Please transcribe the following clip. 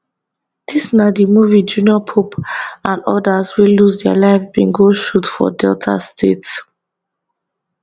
dis na di movie junior pope and odas wey lose dia lives bin go shoot for delta state